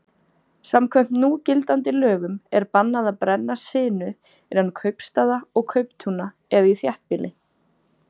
Samkvæmt núgildandi lögum er bannað að brenna sinu innan kaupstaða og kauptúna eða í þéttbýli.